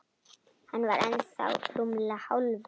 Hann var ennþá rúmlega hálfur.